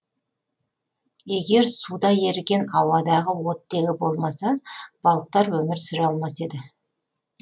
егер суда еріген ауадағы оттегі болмаса балықтар өмір сүре алмас еді